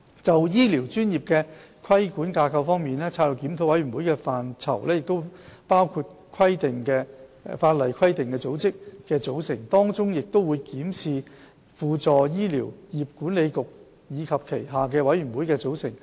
就醫療專業的規管架構方面，策略檢討的範疇包括法定規管組織的組成，當中亦會檢視輔助醫療業管理局及其轄下的委員會的組成。